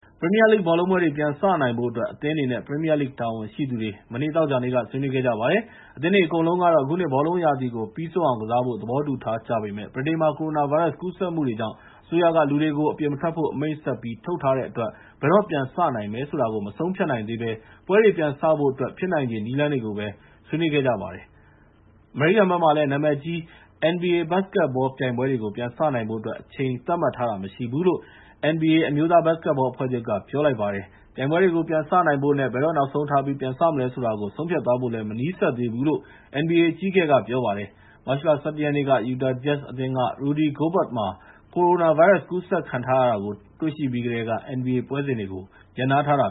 ပရီးမီးယားလိဂ် ဘောလုံးပွဲတွေကို ပြန်စနိုင်ဖို့အတွက် အသင်းတွေနဲ့ ပရီးမီးယားလိဂ် တာဝန်ရှိသူတွေ သောကြာနေ့က ဆွေးနွေးခဲ့ကြပါတယ်။ အသင်းတွေအကုန်လုံးကတော့ အခုနှစ် ဘောလုံးရာသီ ပြီးဆုံးအောင် ကစားဖို့ သဘောတူထားကြပေမယ့် ဗြိတိန်မှာ ကိုရိုနာဗိုင်းရပ်စ် ကူးစက်မှုတွေကြောင့် အစိုးရက လူတွေကို အပြင်မထွက်ဖို့ အမိန့်ဆက်ပြီး ထုတ်ထားတဲ့အတွက် ဘယ်တော့ပြန်စနိုင်မယ် ဆိုတာကို မဆုံးဖြတ်နိုင်သေးဘဲ ပွဲတွေပြန်စဖို့ ဖြစ်နိုင်ချေ နည်းလမ်းတွေကိုပဲ ဆွေးနွေးခဲ့ကြပါတယ်။ အမေရိကန်က နာမည်ကြီး NBA ဘတ်စ်ကက်ဘော ပြိုင်ပွဲတွေကို ပြန်စနိုင်ဖို့ အတွက်ကတော့ အချိန်သတ်မှတ်ထားတာ မရှိဘူူးလို့ NBA အမျိုးသားဘတ်စ်ကက်ဘော အဖွဲ့ချုပ်က ပြောပါတယ်။ ပြိုင်ပွဲတွေကို ပြန်စနိုင်ဖို့နဲ့ ဘယ်တော့နောက်ဆုံးထားပြီး ပြန်စမလဲဆိုတာ ဆုံးဖြတ်သွားဖို့လည်း မနီးစပ်သေးဘူးလို့ NBA အကြီးအကဲက ပြောပါတယ်။ မတ်လ ၁၁ ရက်နေ့မှာ Utah Jazz အသင်းက ကစားသမားတဦးဖြစ်သူ Rudy Gobert မှာ ကိုရိုနာဗိုင်းရပ်စ်ပိုး ကူးစက်ခံထားရတာ တွေ့ရှိပြီးကတည်းက NBA ပွဲစဉ်တွေကို ရပ်နားထားတာ